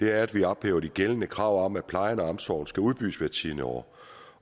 er at vi ophæver de gældende krav om at plejen og omsorgen skal udbydes hvert tiende år